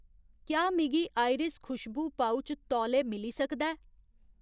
क्या मिगी आयरिस खुशबू पउच तौले मिली सकदा ऐ ?